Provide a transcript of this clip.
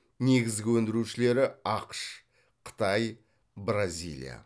негізгі өндірушілері ақш қытай бразилия